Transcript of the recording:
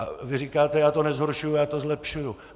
A vy říkáte - já to nezhoršuju, já to zlepšuju.